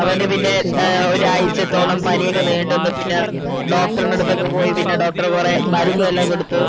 അവനുപിന്നെ ഏർ ഒരാഴ്ചതോളം പനിയൊക്കെ നീണ്ടു നിന്നു പിന്നെ doctor ൻ്റെടുത്തൊക്കെ പോയി പിന്നെ doctor കൊറേ മരുന്ന് എല്ലാം കൊടുത്തു